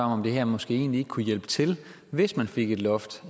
om det her måske egentlig ikke kunne hjælpe til hvis man fik et loft